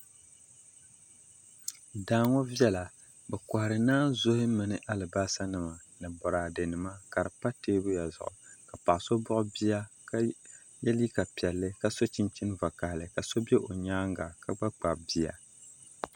Daa ŋo viɛla bi kohari naanzuhi mini alibarisa nima ni boraadɛ nima ka di pa teebuya zuɣu ka paɣa so buɣi bia ka yɛ liiga piɛlli ka so chinchin vakaɣali ka so bɛ o nyaanga ka gba kpabi bia